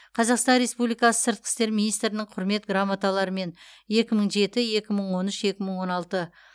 қазақстан республикасы сыртқы істер министрінің құрмет грамоталарымен екі мың жеті екі мың он үш екі мың он алты